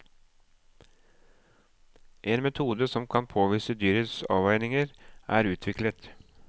En metode som kan påvise dyrets avveininger, er utviklet.